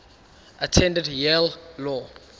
attended yale law